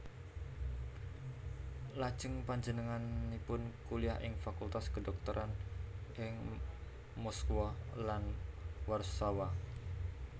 Lajeng panjenenganipun kuliah ing Fakultas Kedhokteran ing Moskwa lan Warsawa